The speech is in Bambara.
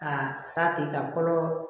Ka taa ten ka fɔlɔ